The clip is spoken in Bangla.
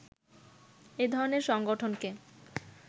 এ ধরণের সংগঠনকে